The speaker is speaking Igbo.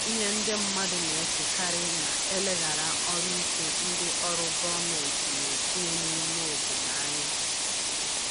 Ihe ndị mmadụ na-echekarị na-eleghara ọrụ ike ndị ọrụ gọmenti na-etinye n’ime obodo anya.